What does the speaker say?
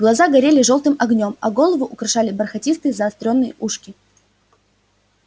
глаза горели жёлтым огнём а голову украшали бархатистые заострённые ушки